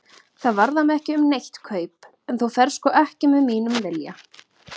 Það varðar mig ekki um neitt kaup, en þú ferð sko ekki með mínum vilja.